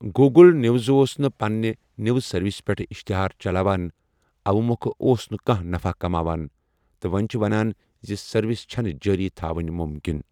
Google news اوس نہ پننہ نیوٕز سروسَ پیٹھ اشتہار چلاوان، اوٕ مۄکھٕ اوس نہ کانٛہہ نفع کماوان، تہٕ وۄنیۍ چھِ ونان زِ سروس چھنہ جاری تھاوٕنۍ ممکن۔